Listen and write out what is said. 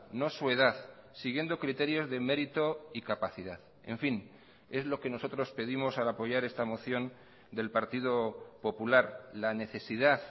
no su edad siguiendo criterios de mérito y capacidad en fin es lo que nosotros pedimos al apoyar esta moción del partido popular la necesidad